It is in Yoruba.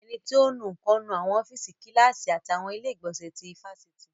Ẹni tí ò ń nu nǹkan ń nu àwọn ọ́fíìsì, Kíláàsì àti àwọn ilé ìgbọ̀nsẹ̀ ti ifásitì